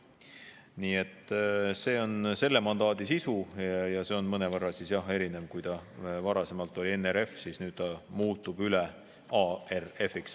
Nii et see on selle mandaadi sisu ja see on mõnevõrra erinev: kui varasemalt oli NRF, siis nüüd see muutub ARF-iks.